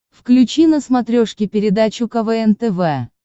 включи на смотрешке передачу квн тв